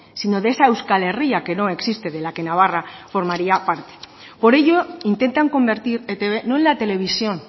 sino de esa euskal herria que no existe de la que navarra formaría parte por ello intentan convertir etb no en la televisión